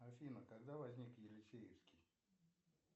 афина когда возник елисеевский